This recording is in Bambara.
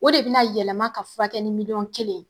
O de bina yɛlɛma ka furakɛ ni miliyɔn kelen.